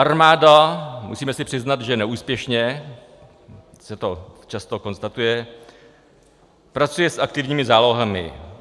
Armáda, musíme si přiznat, že neúspěšně, se to často konstatuje, pracuje s aktivními zálohami.